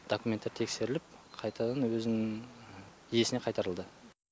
документтер тексеріліп қайтадан өзінің иесіне қайтарылды